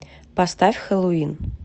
поставь хэллоуин